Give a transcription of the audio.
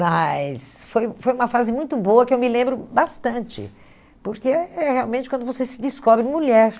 Mas foi foi uma fase muito boa que eu me lembro bastante, porque é realmente quando você se descobre mulher.